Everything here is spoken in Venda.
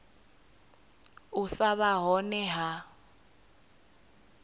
u sa vha hone ha